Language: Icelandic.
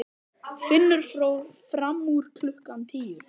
Finnur fór fram úr klukkan tíu.